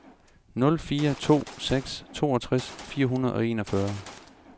nul fire to seks toogtres fire hundrede og enogfyrre